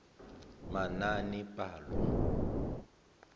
manaanepalo